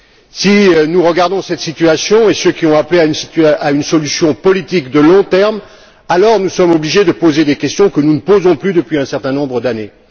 Si nous regardons cette situation et ceux qui ont appelé à une solution politique de long terme, alors nous sommes obligés de poser des questions que nous ne posons plus depuis un certain nombre d'années.